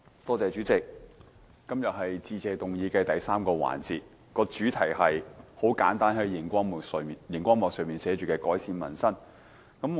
代理主席，今天是致謝議案的第三個辯論環節，主題是——很簡單——就是熒光幕上所顯示的"改善民生"。